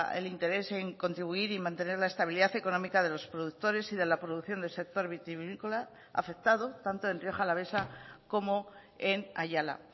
el interés en contribuir y mantener la estabilidad económica de los productores y de la producción del sector vitivinícola afectado tanto en rioja alavesa como en ayala